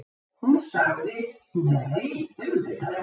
Hún sagði: Nei, auðvitað ekki.